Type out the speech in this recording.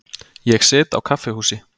Ég sit á kaffihúsi.